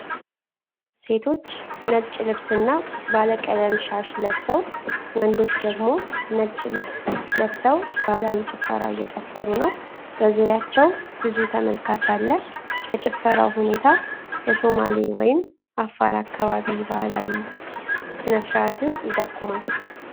ሴቶች ነጭ ልብስና ባለቀለም ሻሽ ለብሰው ወንዶች ደግሞ ነጭ ልብስ ለብሰው ባህላዊ ጭፈራ እየጨፍሩ ነው። በዙሪያቸው ብዙ ተመልካች አለ ። የጭፈራው ሁኔታ የሶማሌ ወይም አፋር አካባቢ ባህላዊ ሥነ-ሥርዓትን ይጠቁማል ።